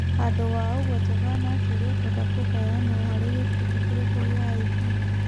Handũ wa ũguo Jovana akĩũrio ekwenda kũheyanwo harĩ gĩkundi kĩrĩkũ gĩa IB.